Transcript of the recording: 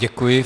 Děkuji.